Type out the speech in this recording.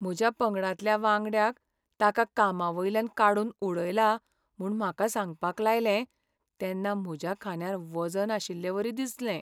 म्हज्या पंगडांतल्या वांगड्याक ताका कामावयल्यान काडून उडयला म्हूण म्हाका सांगपाक लायलें तेन्ना म्हज्या खांद्यार वजन आशिल्लेवरी दिसलें.